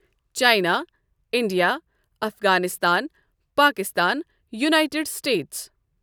China, India, Afghanistan, Pakistan, United States.